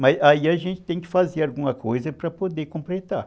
Mas aí a gente tem que fazer alguma coisa para poder completar.